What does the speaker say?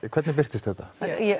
hvernig birtist þetta